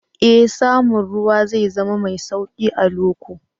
Ee, samun ruwa zai zama mai sauƙi a loko